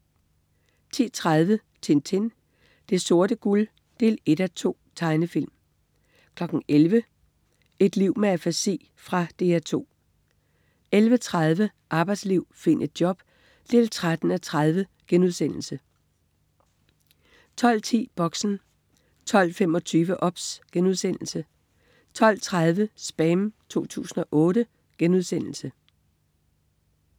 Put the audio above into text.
10.30 Tintin. Det sorte guld 1:2. Tegnefilm 11.00 Et liv med afasi. Fra DR 2 11.30 Arbejdsliv. Find et job 13:30* 12.10 Boxen 12.25 OBS* 12.30 SPAM 2008*